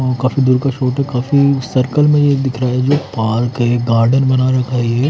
अ काफी दूर का है काफी सर्कल में यह दिख रहा है जो पार्क है गार्डन बना रखा है ये--